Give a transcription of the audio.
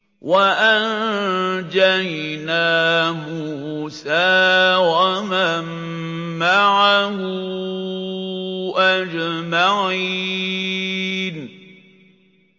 وَأَنجَيْنَا مُوسَىٰ وَمَن مَّعَهُ أَجْمَعِينَ